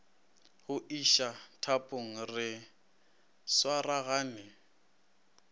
go iša thapong re swaragane